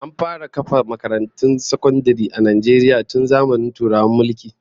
An fara kafa makarantun sakandare a Najeriya tun zamanin Turawan mulki